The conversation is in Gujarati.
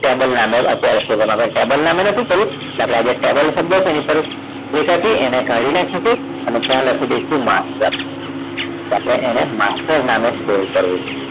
Table નામે આપણે table નામે નતું કર્યું એટલે આપણે table શબ્દ છે એની તરફ date એને કાઢી નાખીશું અને ત્યાં લખી દઈશું master તો આપણે એને master નામે save કરવું